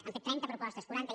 han fet trenta propostes quaranta